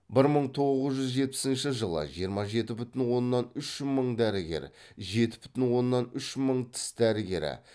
бір мың тоғыз жүз жетпісінші жылы жиырма жеті бүтін оннан үш мың дәрігер жеті бүтін оннан үш мың тіс дәрігері